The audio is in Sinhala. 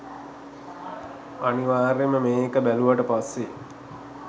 අනිවාර්යෙන්ම මේ එක බැලුවාට පස්සේ